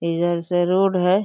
से रोड है।